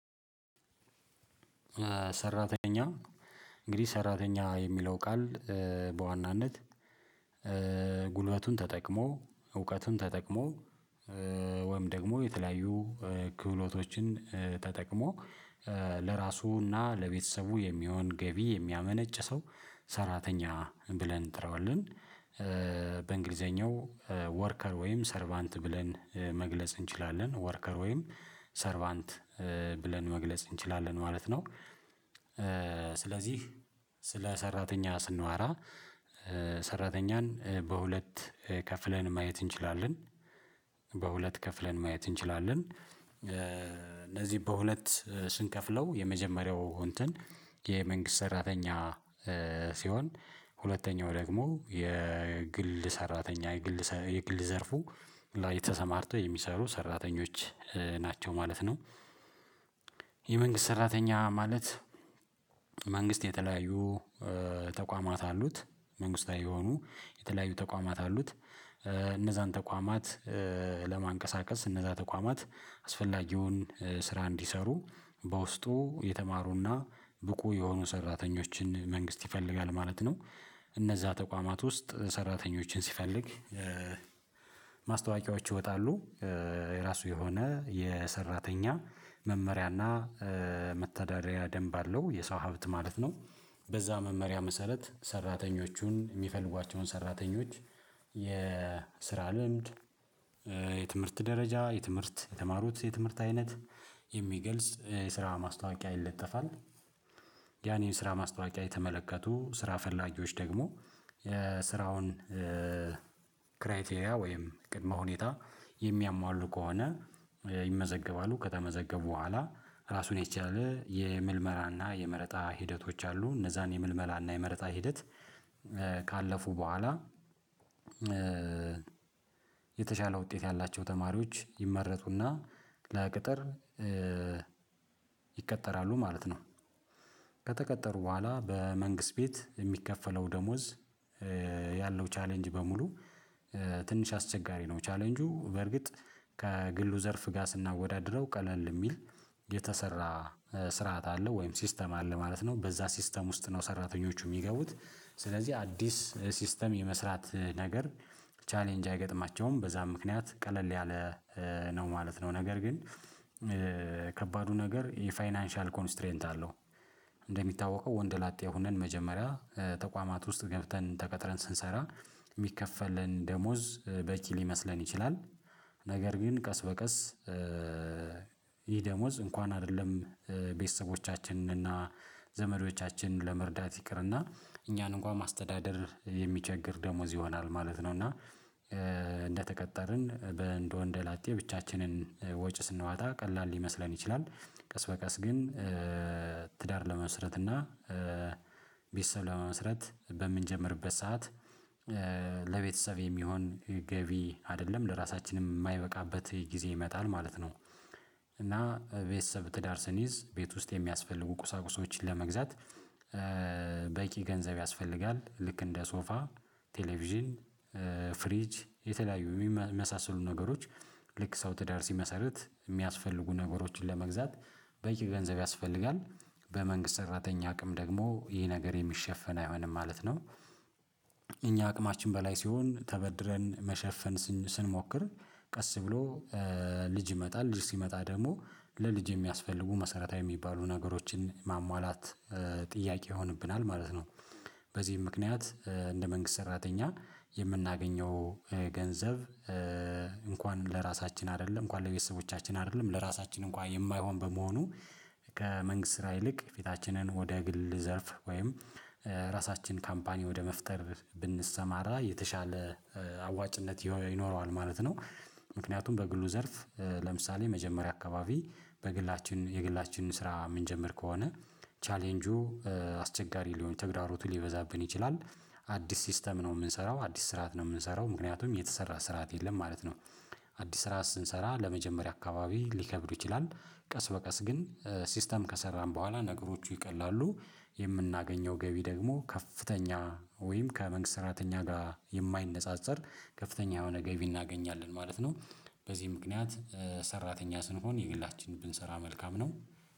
ሰራተኛ እንግዲህ ሰራተኛ የሚለው ቃል በዋናነት ጉልበቱን ተጠቅሞ እውቀቱን ተጠቅሞ ወይም ደግሞ የተለያዩ ክህሎቶችን ተጠቅሞ ለራሱና ለቤተሰቡ የሚሆን ገቢ የሚያመነጭ ሰው ሰራተኛ ብለን እንጠራዋለን በእንግሊዘኛው ወርከር ወይም ሰርቫንት ብለን መግለጽ እንችላለን ወርከር ወይም ሰርቫንት ብለን መግለጽ እንችላለን ማለት ነው። ስለዚህ ስለ ሰራተኛ ስንዋራ ሰራተኛን በሁለት ከፍለን ማየት እንችላለን በሁለት ከፍለን ማየት እንችላለን እነዚህ በሁለት ስንከፍለው የመጀመሪያው እንትን የመንግስት ሰራተኛ ሲሆን ሁለተኛው ደግሞ የግል ሰራተኛ የግል የግል ዘርፉ ላይ ተሰማርተው የሚሰሩ ሰራተኞች ናቸው ማለት ነው። የመንግስት ሰራተኛ ማለት መንግስት የተለያዩ ተቋማት አሉት መንግስታዊ የሆኑ የተለያዩ ተቋማት አሉት እነዛን ተቋማት ለማንቀሳቀስ እነዛ ተቋማት አስፈላጊውን ስራ እንዲሰሩ በውስጡ የተማሩና ብቁ የሆኑ ሰራተኞችን መንግስት ይፈልጋል ማለት ነው። እነዛ ተቋማት ውስጥ ሰራተኞችን ሲፈልግ ማስታወቂያዎች ይወጣሉ የራሱ የሆነ የሰራተኛ መመሪያና መተዳደሪያ ደንብ አለው የሰው ሀብት ማለት ነው። በዛ መመሪያ መሰረት ሰራተኞቹን የሚፈልጓቸውን ሰራተኞች የስራ ልምድ የትምህርት ደረጃ የትምህርት የተማሩት የትምህርት አይነት የሚገልጽ የስራ ማስታወቂያ ይለጠፋል። ያን የስራ ማስታወቂያ የተመለከቱ ስራ ፈላጊዎች ደግሞ የስራውን ክራይቴሪያ ወይም ቅድመ ሁኔታ የሚያሟሉ ከሆነ ይመዘገባሉ ከተመዘገቡ በኋላ ራሱን የቻለ የምልመላና የመረጣ ሂደቶች አሉ እነዛን የምልመላና የመረጣ ሂደት ካለፉ በኋላ። የተሻለ ውጤት ያላቸው ተማሪዎች ይመረጡና ለቅጥር ይቀጠራሉ ማለት ነው። ከተቀጠሩ በኋላ በመንግስት ቤት የሚከፈለው ደሞዝ ያለው ቻሌንጅ በሙሉ ትንሽ አስቸጋሪ ነው። ቻሌንጁ በእርግጥ ከግሉ ዘርፍ ጋር ስናወዳድረው ቀለል የሚል የተሰራ ስርዓት አለው ወይም ሲስተም አለ ማለት ነው። በዛ ሲስተም ውስጥ ነው ሰራተኞቹ የሚገቡት ስለዚህ አዲስ ሲስተም የመስራት ነገር ቻሌንጅ አይገጥማቸውም በዛ ምክንያት ቀለል ያለ ነው ማለት ነው። ነገር ግን ከባዱ ነገር የፋይናንሻል ኮንስትሬንት አለው። እንደሚታወቀው ወንደ ላጤ ሆነን መጀመሪያ ተቋማት ውስጥ ገብተን ተቀጥረን ስንሰራ ሚከፈለን ደሞዝ በቂ ሊመስለን ይችላል። ነገር ግን ቀስ በቀስ ይሄ ደሞዝ እንኳን አይደለም ቤተሰቦቻችንን እና ዘመዶቻችንን ለመርዳት ይቅር እና እኛን እንኳን ማስተዳደር የሚቸግር ደሞዝ ይሆናል ማለት ነው። እና እንደተቀጠርን በእንደ ወንደ ላጤ ብቻችንን ወጪ ስንዋጣ ቀላል ሊመስለን ይችላል ቀስ በቀስ ግን ትዳር ለመመስረት እና ቤተሰብ ለመመስረት በምንጀምርበት ሰዓት ለቤተሰብ የሚሆን ገቢ አይደለም ለራሳችንም የማይበቃበት ጊዜ ይመጣል ማለት ነው። እና ቤተሰብ ትዳር ስንይዝ ቤት ውስጥ የሚያስፈልጉ ቁሳቁሶችን ለመግዛት በቂ ገንዘብ ያስፈልጋል ልክ እንደ ሶፋ ቴሌቪዥን ፍሪጅ የተለያዩ የሚመሳሰሉ ነገሮች ልክ ሰው ትዳር ሲመሰርት የሚያስፈልጉ ነገሮችን ለመግዛት በቂ ገንዘብ ያስፈልጋል በመንግስት ሰራተኛ አቅም ደግሞ ይህ ነገር የሚሸፈን አይሆንም ማለት ነው። እኛ አቅማችን በላይ ሲሆን ተበድረን መሸፈን ስንሞክር ቀስ ብሎ ልጅ ይመጣል ልጅ ሲመጣ ደግሞ ለልጅ የሚያስፈልጉ መሰረታዊ የሚባሉ ነገሮችን ማሟላት ጥያቄ ይሆንብናል ማለት ነው። በዚህም ምክንያት እንደ መንግስት ሰራተኛ የምናገኘው ገንዘብ እንኳን ለራሳችን አይደለም እንኳን ለቤተሰቦቻችን አይደለም ለራሳችን እንኳን የማይሆን በመሆኑ ከመንግስት ስራ ይልቅ ፊታችንን ወደ ግል ዘርፍ ወይም ራሳችን ካምፓኒ ወደ መፍጠር ብንሰማራ የተሻለ አዋጭነት ይኖረዋል ማለት ነው። ምክንያቱም በግሉ ዘርፍ ለምሳሌ መጀመሪያ አካባቢ በግላችን የግላችንን ስራ የምንጀምር ከሆነ ቻሌንጁ አስቸጋሪ ሊሆን ተግዳሮቱ ሊበዛብን ይችላል አዲስ ሲስተም ነው የምንሰራው አዲስ ስርዓት ነው የምንሰራው ምክንያቱም የተሰራ ስርዓት የለም ማለት ነው። አዲስ ስርዓት ስንሰራ ለመጀመሪያ አካባቢ ሊከብዱ ይችላል ቀስ በቀስ ግን ሲስተም ከሰራን በኋላ ነገሮቹ ይቀላሉ የምናገኘው ገቢ ደግሞ ከፍተኛ ወይም ከመንግስት ሰራተኛ ጋር የማይነጻጸር ከፍተኛ የሆነ ገቢ እናገኛለን ማለት ነው። በዚህ ምክንያት ሰራተኛ ስንሆን የግላችን ብንሰራ መልካም ነው።